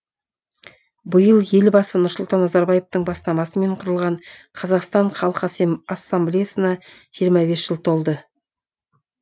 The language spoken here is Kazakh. биыл елбасы нұрсұлтан назарбаевтың бастамасымен құрылған қазақстан халқы ассамблеясына жиырма бес жыл толды